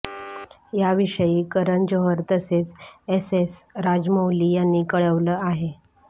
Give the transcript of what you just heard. याविषयी करण जोहर तसेच एसएस राजमौली यांनी कळवलं आहे